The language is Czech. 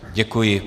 Děkuji.